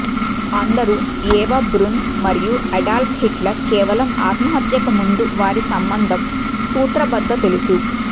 అందరూ Eva Braun మరియు Adolf Hitler కేవలం ఆత్మహత్యకు ముందు వారి సంబంధం సూత్రబద్ధ తెలుసు